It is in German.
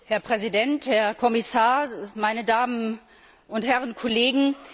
Herr Präsident, Herr Kommissar, meine Damen und Herren Kollegen!